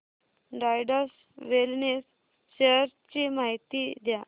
Zydus wellness shares ची माहिती द्या